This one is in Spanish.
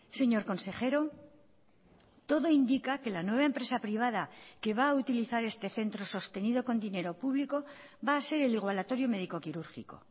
señor consejero todo indica que la nueva empresa privada que va a utilizar este centro sostenido con dinero público va a ser el igualatorio médico quirúrgico